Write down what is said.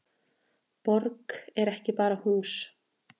Borg er ekki bara hús.